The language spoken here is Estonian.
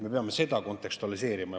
Me peame seda kontekstualiseerima.